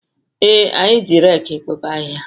Ee, anyị ji reki ekpoko ahịhịa.